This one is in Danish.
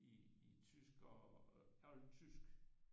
I tysk og oldtysk